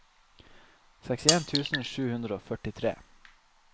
sekstien tusen sju hundre og førtitre